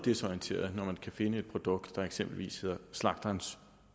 desorienterede når man kan finde et produkt der eksempelvis hedder slagterens